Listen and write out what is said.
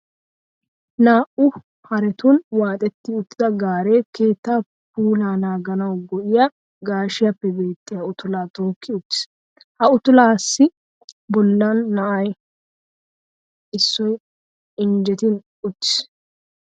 Naa"u haretun waaxetti uttida gaaree keettaa puulaa naaganawu go"iya gaashiyappe beettiya utulaa tookki uttiis. Ha utulaassi bollan na"a issoy injjetin uttiis.